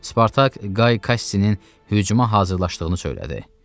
Spartak Qay Kassinin hücuma hazırlaşdığını söylədi.